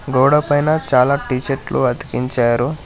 గోడ పైన చాలా టీషర్ట్లు అతికించారు.